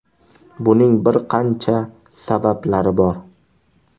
Buning bir qancha sabablari bor.